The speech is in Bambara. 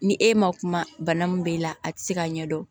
Ni e ma kuma bana min b'e la a ti se ka ɲɛdɔn